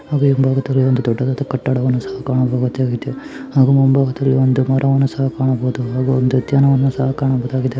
ಹಾಗೆ ಹಿಂಭಾಗದಲ್ಲಿ ಒಂದು ದೊಡ್ಡದದಾ ಕಟ್ಟಡವನ್ನು ಸಹ ಕಾಣಬಹುದಾಗಿದೆ ಹಾಗೂ ಮುಂಭಾಗದಲ್ಲಿ ಒಂದು ಮರವನ್ನು ಸಹ ಕಾಣಬಹುದು ಹಾಗೂ ಒಂದು ಉದ್ಯಾನವನವನ್ನು ಸಹ ಕಾಣಬಹುದಾಗಿದೆ .